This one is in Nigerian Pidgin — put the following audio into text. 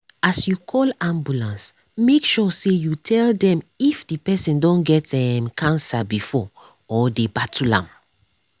as you call ambulance make sure you tell dem if the person don get um cancer before or dey battle am.